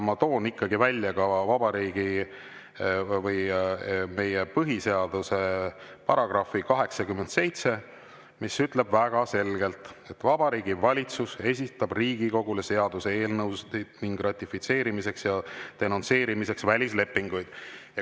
Ma toon ikkagi ka välja meie põhiseaduse § 87, mis ütleb väga selgelt, et Vabariigi Valitsus esitab Riigikogule seaduseelnõusid ning ratifitseerimiseks ja denonsseerimiseks välislepinguid.